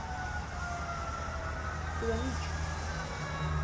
Toda nič.